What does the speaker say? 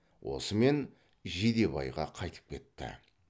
осымен жидебайға қайтып кетті